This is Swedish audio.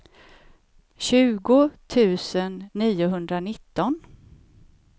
tjugo tusen niohundranitton